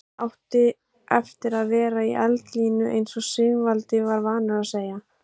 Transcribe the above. Hann átti eftir að vera í eldlínunni eins og Sigvaldi var vanur að segja.